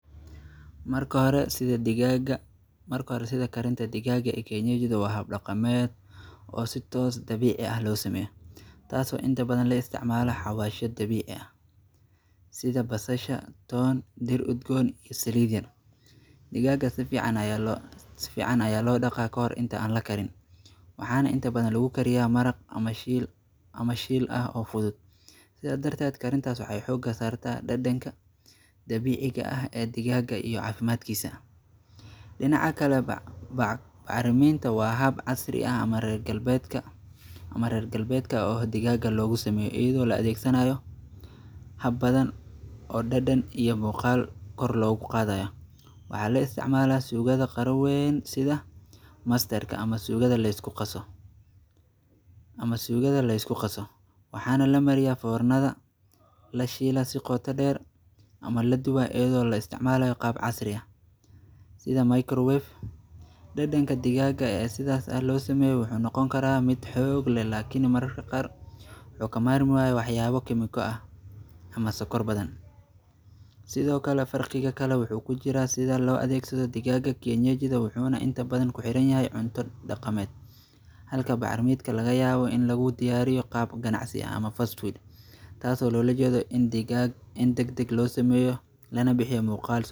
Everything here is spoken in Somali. Marka hore sida digaaga marka hore sida karinta digaaga ee keinyejidha waa hab dhaqameed oo si toos dabiici ah loo sameeye taaso inta bdan la isticmaalo xabaasho dabiici ah sida basasha, toon, dhir udgoon iyo saliid yar digaaga si fiican ayaa loo dhaqa ka hor inta aan lakarin waxaan inta badan lagu kariyaa maraq ama shiil ama shiil ah oo fudud sidaa darteed karintaas waxee xooga saarta dhadhanka dabiiciga ah ee digaaga iyo caafimaadkiisa dhinac kaleba bacariminta waa hab casri ah ama reer galbeedka oo digaaga loogu sameeye iyadoo la adeegsanayo hab badan oo dhadhan iyo muqaal kor loogu qaadayo wxaa la isticmala suugada qaro weeyn sida masterka ama suugada la isku qaso waxaana lamariyaa foornada lashiila si qoto dheer ama la dubaayo iyadoo la isticmalayo qaab casri ah sida microwave dhadhanka digaaga ee sidaas ah loo sameeyo waxuu noqon karaa mid xoog leh laakini maraka qaar wuxuu ka maarmi waaya wax yaalo kiimiko ah ama sokor badan sidoo kale farqiga kale waxuu kujiraa sida loo adeegsado digaaga kienyejidha waxuuna inta badan kuxiranyahay cunto dhaqameed halka bacariminka laga yaabo in lagu diyaariyo qaab ganacsi ama fastweed taaso loola jeedo in digaag in dagdeg loo sameeyo lana biyo muuqaal.